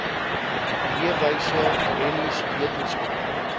leefwyse rennies wetenskap